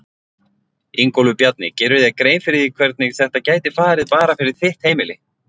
Ingólfur Bjarni: Gerirðu þér grein fyrir því hvernig þetta gæti farið bara fyrir heimili þitt?